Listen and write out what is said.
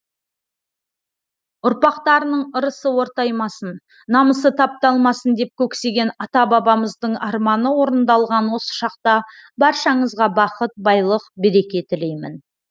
ұрпақтарының ырысы ортаймасын намысы тапталмасын деп көксеген ата бабамыздың арманы орындалған осы шақта баршаңызға бақыт байлық береке тілеймін